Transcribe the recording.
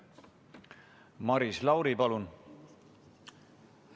Maris Lauri, palun!